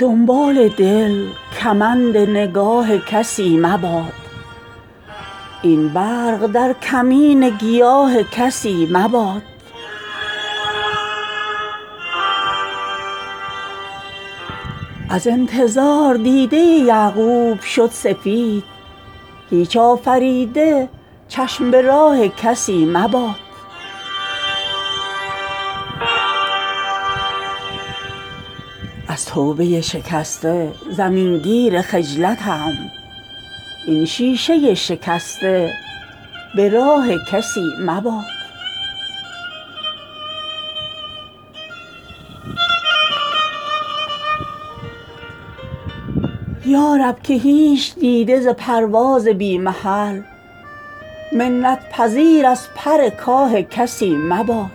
دنبال دل کمند نگاه کسی مباد این برق در کمین گیاه کسی مباد از انتظار دیده یعقوب شد سفید هیچ آفریده چشم به راه کسی مباد از توبه شکسته زمین گیر خجلتم این شیشه شکسته به راه کسی مباد داغ کلف ز چهره به شستن نمی رود ممنون نور عاریه ماه کسی مباد یارب که هیچ دیده ز پرواز بی محل منت پذیر از پر کاه کسی مباد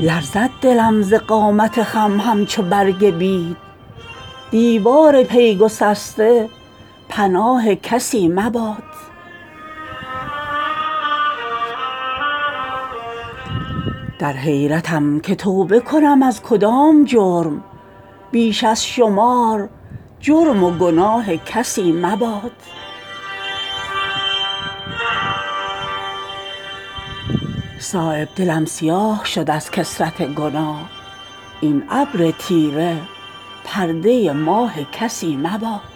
لرزد دلم ز قامت خم همچو برگ بید دیوار پی گسسته پناه کسی مباد از اشک و آه من اثر از عزم سست رفت این بی جگر میان سپاه کسی مباد در حیرتم که توبه کنم از کدام جرم بیش از شمار جرم و گناه کسی مباد در شاهدان خارجی امکان جرح هست از دست و پای خویش گواه کسی مباد یارب نصیب دیده ز پرواز بی محل از هیچ خرمنی پرکاه کسی مباد از شرم نور عاریه گردید آب شمع سرگرم هیچ کس به کلاه کسی مباد صایب سیاه شد دلم از کثرت گناه این ابر تیره پرده ماه کسی مباد